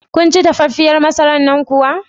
Kunci dafaffiyar masarar nan kuwa?